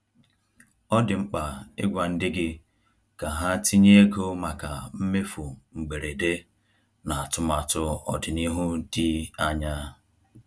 Ọ dị mkpa ịgwa ndị gị ka ha tinye ego maka mmefu mgberede na atụmatụ ọdịnihu dị anya.